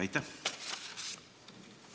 Aitäh!